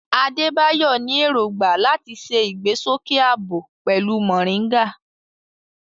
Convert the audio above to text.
Adebayo ní èrògbà láti ṣe ìgbésókè ààbò pẹ̀lú moringa.